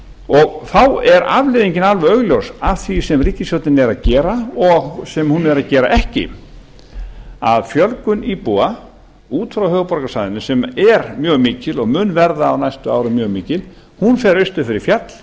og þá er afleiðingin alveg augljós að því sem ríkisstjórnin er að gera og sem hún er ekki að gera að fjölgun íbúa út frá höfuðborgarsvæðinu sem er mjög mikil og mun verða á næstu árum mjög mikil hún fer austur fyrir fjall